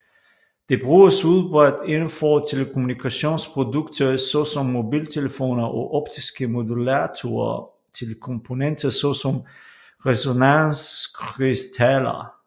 Det bruges udbredt indenfor telekommunikationsprodukter såsom mobiltelefoner og optiske modulatorer til komponenter såsom resonanskrystaller